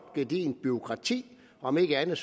gedigent bureaukrati om ikke andet